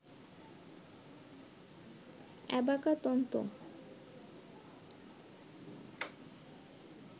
অ্যাবাকা তন্তু